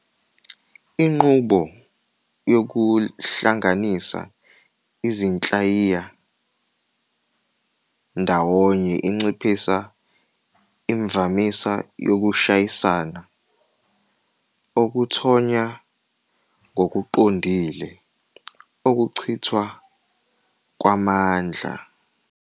Inqubo yokuhlanganisa izinhlayiya ndawonye inciphisa imvamisa yokushayisana, okuthonya ngokuqondile ukuchithwa kwamandla.